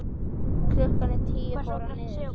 Klukkan tíu fór hann niður.